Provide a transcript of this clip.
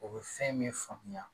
O bɛ fɛn min faamuya